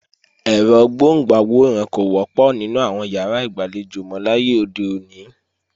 Ẹ̀rọ DVD kò wọ́pọ̀ nínú àwọn ìyàrá ìgbàlejò mọ láyé òde òní